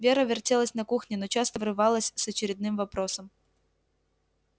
вера вертелась на кухне но часто врывалась с очередным вопросом